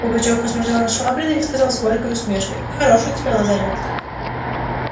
пугачёв посмотрел на швабрина и сказал с горькой усмешкой хорош у тебя лазарет